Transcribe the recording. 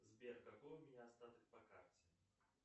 сбер какой у меня остаток по карте